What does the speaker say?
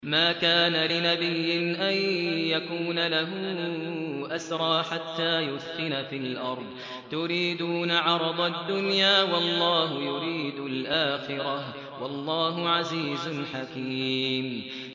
مَا كَانَ لِنَبِيٍّ أَن يَكُونَ لَهُ أَسْرَىٰ حَتَّىٰ يُثْخِنَ فِي الْأَرْضِ ۚ تُرِيدُونَ عَرَضَ الدُّنْيَا وَاللَّهُ يُرِيدُ الْآخِرَةَ ۗ وَاللَّهُ عَزِيزٌ حَكِيمٌ